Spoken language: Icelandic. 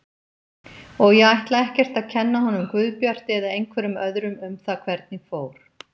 Og ég ætla ekkert að kenna honum Guðbjarti eða einhverjum öðrum um það hvernig fór.